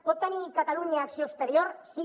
pot tenir catalunya acció exterior sí